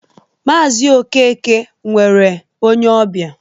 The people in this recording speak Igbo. Maazi Okeke nwere onye ọbịa